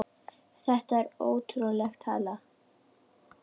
Þetta er ótrúleg tala.